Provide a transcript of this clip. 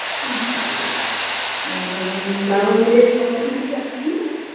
আচ্ছা ঠিক আছে অ্যাম তাহলে কজন কি যাচ্ছি